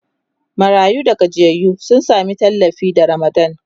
marayu da gajiyayyu sun Sami tallafi da ramadan